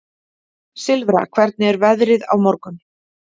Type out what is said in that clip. Silfra, hvernig er veðrið á morgun?